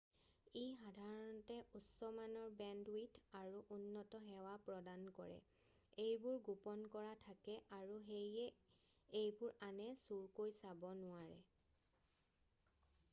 ই সাধাৰণতে উচ্চমানৰ বেণ্ডউইথ আৰু উন্নত সেৱা প্ৰদান কৰে এইবোৰ গোপন কৰা থাকে আৰু সেয়ে এইবোৰ আনে চুৰকৈ চাব নোৱাৰে